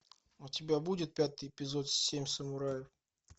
у тебя будет пятый эпизод семь самураев